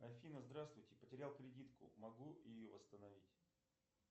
афина здравствуйте потерял кредитку могу ее восстановить